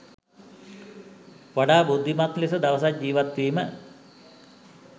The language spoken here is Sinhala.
වඩා බුද්ධිමත් ලෙස දවසක් ජීවත් වීම